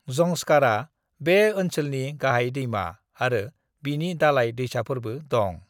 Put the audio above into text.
ज़ंस्कारा बे ओनसोलनि गाहाय दैमा आरो बिनि दालाय दैसाफोरबो दं।